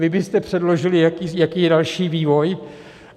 Vy byste předložili, jaký je další vývoj.